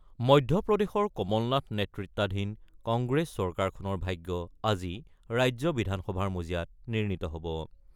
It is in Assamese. মধ্যপ্ৰদেশৰ কমল নাথ নেতৃত্বাধীন কংগ্ৰেছ চৰকাৰখনৰ ভাগ্য আজি ৰাজ্য বিধানসভাৰ মজিয়াত নিৰ্ণিত হ'ব।